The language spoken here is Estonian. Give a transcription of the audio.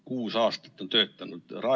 Kuus aastat on töötanud!